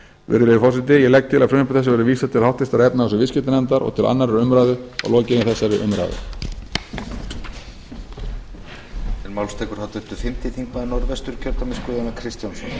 virðulegi forseti ég legg til að frumvarpi þessu verði vísað til háttvirtrar efnahags og viðskiptanefndar og til annarrar umræðu að lokinni þessari umræðu